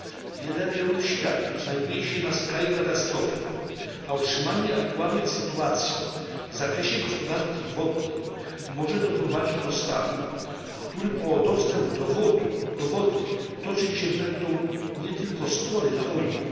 Wiele rejonów świata znajduje się na skraju katastrofy, a utrzymanie aktualnej sytuacji w zakresie gospodarki wodnej może doprowadzić do stanu, w którym o dostęp do wody toczyć się będą nie tylko spory, ale wojny.